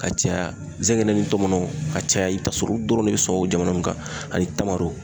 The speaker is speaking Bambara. Ka caya zɛgɛnɛ ni tɔmɔnɔw ka caya i bi ta sɔrɔ olu dɔrɔn de be sɔn o jamana nunnu kan ani tamaro.